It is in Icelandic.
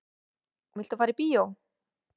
Viltu fara í bíó?